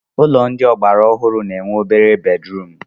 Ụlọ ndị ọgbara ọhụrụ na-enwe obere bedrum